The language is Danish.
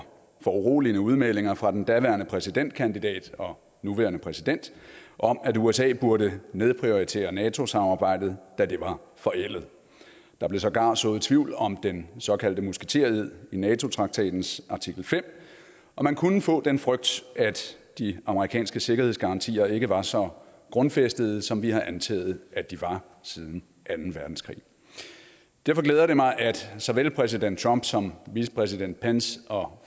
foruroligende udmeldinger fra den daværende præsidentkandidat og nuværende præsident om at usa burde nedprioritere nato samarbejdet da det var forældet der blev sågar sået tvivl om den såkaldte musketered i nato traktatens artikel fem og man kunne få den frygt at de amerikanske sikkerhedsgarantier ikke var så grundfæstede som vi har antaget at de var siden anden verdenskrig derfor glæder det mig at såvel præsident trump som vicepræsident pence og